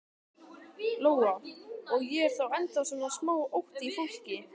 Lóa: Og er þá ennþá svona smá ótti í fólki?